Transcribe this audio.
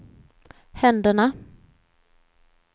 händerna